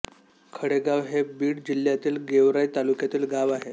खळेगाव हे बीड जिल्ह्यातील गेवराई तालुक्यातील गाव आहे